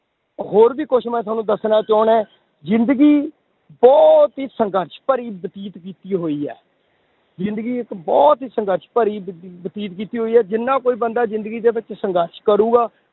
ਹੋਰ ਵੀ ਕੁਛ ਮੈਂ ਤੁਹਾਨੂੰ ਦੱਸਣਾ ਚਾਹੁਨਾ ਹੈਂ ਜ਼ਿੰਦਗੀ ਬਹੁਤ ਹੀ ਸੰਘਰਸ਼ ਭਰੀ ਬਤੀਤ ਕੀਤੀ ਹੋਈ ਹੈ, ਜ਼ਿੰਦਗੀ ਇੱਕ ਬਹੁਤ ਹੀ ਸੰਘਰਸ਼ ਭਰੀ ਬ~ ਬਤੀਤ ਕੀਤੀ ਹੋਈ ਹੈ, ਜਿੰਨਾ ਕੋਈ ਬੰਦਾ ਜ਼ਿੰਦਗੀ ਦੇ ਵਿੱਚ ਸੰਘਰਸ਼ ਕਰੂਗਾ,